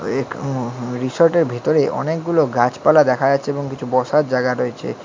এক um resort -এর ভিতরে অনেকগুলো গাছপালা দেখা যাচ্ছে এবং কিছু বসার জাগা রয়েছে।